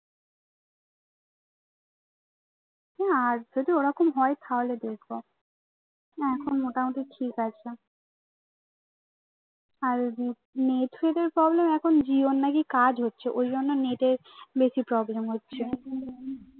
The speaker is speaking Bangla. আর যদি ওরকম হয় তাহলে দেখবো না এখন মোটামুটি ঠিক আছে আর নেট ফেটের problem এখন জিওর নাকি কাজ হচ্ছে ওই জন্য নেটের বেশি problem হচ্ছে